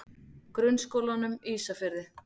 Grunnskólanum Ísafirði